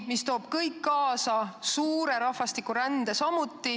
Kõik see toob kaasa ka suure rahvastikurände.